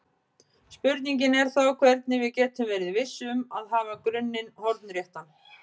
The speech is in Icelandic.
Spurningin er þá hvernig við getum verið viss um að hafa grunninn hornréttan.